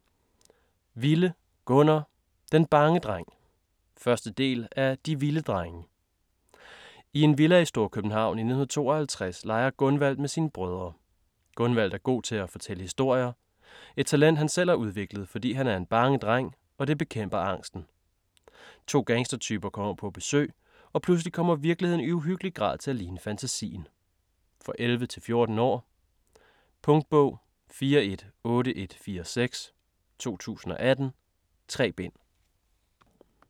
Wille, Gunnar: Den bange dreng 1. del af De Wille drenge. I en villa i Storkøbenhavn i 1952 leger Gunvald med sine brødre. Gunvald er god til at fortælle historier. Et talent han selv har udviklet, fordi han er en bange dreng, og det bekæmper angsten. To gangstertyper kommer på besøg, og pludselig kommer virkeligheden i uhyggelig grad til at ligne fantasien. For 11-14 år. Punktbog 418146 2018. 3 bind.